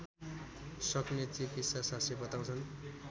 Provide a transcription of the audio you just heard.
सक्ने चिकित्साशास्त्री बताउँछन्